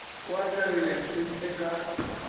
o atlegile ntlheng ye ka